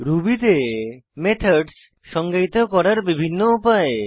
Ruby তে methods সংজ্ঞায়িত করার বিভিন্ন উপায়